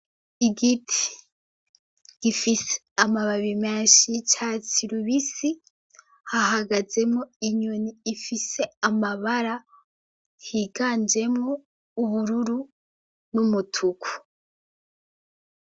Igiti gifise amababi menshi ca s i lubisi hahagazemo inyoni ifise amabara higanjemo ubururu n'umutuku.